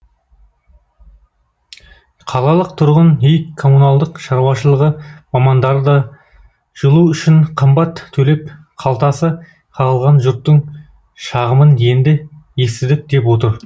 қалалық тұрғын үй коммуналдық шаруашылығы мамандары да жылу үшін қымбат төлеп қалтасы қағылған жұрттың шағымын енді естідік деп отыр